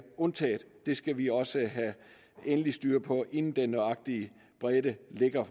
undtaget det skal vi også have styr på inden den nøjagtige bredde